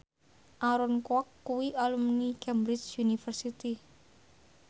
Aaron Kwok kuwi alumni Cambridge University